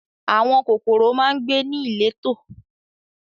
Àwọn kòkòrò máa ń gbé ní ìletò